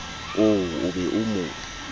oo o be o mo